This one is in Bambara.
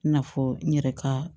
I n'a fɔ n yɛrɛ ka